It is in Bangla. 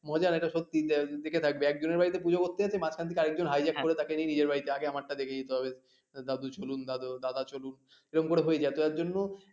মজার এটা সত্যি যে দেখে থাকবে একজনের বাড়িতে পূজো করতে যাচ্ছে মাঝখান থেকে আরেকজন hijack করে তাকে নিয়ে নিজের বাড়িতে আগে আমারটা দেখিয়ে দিতে হবে, দাদু চলুন, দাদা চলুন এরকম করে হয়ে যায় তো তার জন্য,